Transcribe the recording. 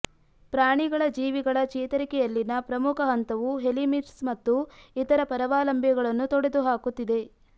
ಪ್ರಾಣಿಗಳ ಜೀವಿಗಳ ಚೇತರಿಕೆಯಲ್ಲಿನ ಪ್ರಮುಖ ಹಂತವು ಹೆಲಿಮಿತ್ಸ್ ಮತ್ತು ಇತರ ಪರಾವಲಂಬಿಗಳನ್ನು ತೊಡೆದುಹಾಕುತ್ತಿದೆ